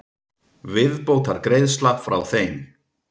Viðbótargreiðsla frá þeim.